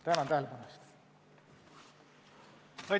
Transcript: Tänan tähelepanu eest!